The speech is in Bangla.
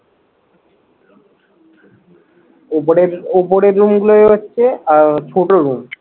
ওপরের ওপরের room গুলো হচ্ছে আহ ছোট room